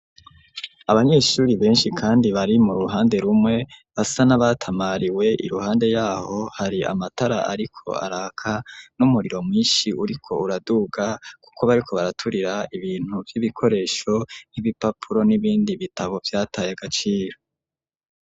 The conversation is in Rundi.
Abanyeshuri benshi kandi bari mu ruhande rumwe, basa n'abatamariwe, iruhande y'aho hari amatara ariko araka, n'umuriro mwinshi uriko uraduga, kuko bariko baraturira ibintu vy'ibikoresho nk'ibipapuro n'ibindi bitabo vyataye agaciro.